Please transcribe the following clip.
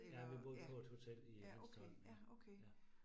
Ja, vi boede på et hotel i Hanstholm ja, ja